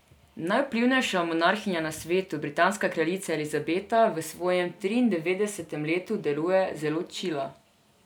Najvplivnejša monarhinja na svetu, britanska kraljica Elizabeta, v svojem triindevetdesetem letu deluje zelo čila.